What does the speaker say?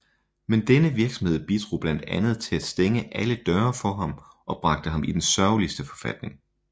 Men denne virksomhed bidrog blandt andet til at stænge alle døre for ham og bragte ham i den sørgeligste forfatning